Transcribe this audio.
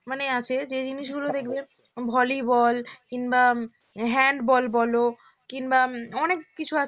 মানে আছে যে জিনিসগুলো দেখবেন ভলিবল কিংবা হ্যান্ডবল বল কিংবা অনেক কিছু আছে